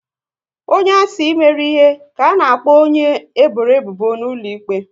Onye a sị mere ihe, ka a na-akpọ onye e bọrọ ebubo n'ụlọ ikpe